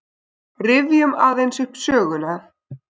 Rifjum aðeins upp söguna.